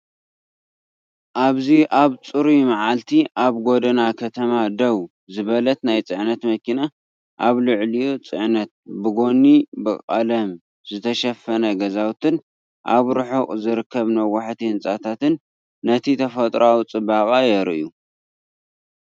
ኣብዚ ኣብ ጽሩይ መዓልቲ ኣብ ጎደና ከተማ ደው ዝበለት ናይ ጽዕነት መኪና፡ ኣብ ልዕሊኡ ጽዕነት፡ ብጎኒ ብቐለም ዝተሸፈነ ገዛውትን ኣብ ርሑቕ ዝርከቡ ነዋሕቲ ህንጻታትን ነቲ ተፈጥሮኣዊ ጽባቐ የርእዩ።